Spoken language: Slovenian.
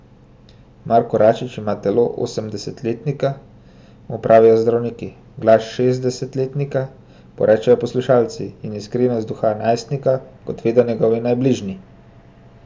Marko Račič ima telo osemdesetletnika, mu pravijo zdravniki, glas šestdesetletnika, porečejo poslušalci, in iskrivost duha najstnika, kot vedo njegovi najbližji.